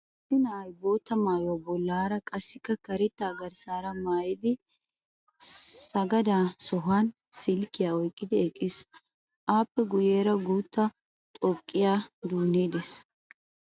Issi na'ay bootta maayuwa bollaara qassikka karettaa garssaara maayidi sagada sohuwan silkkiya oyqqidi eqqiis. Appe guyyeera guuttaa xoqqiya duunnee de'es.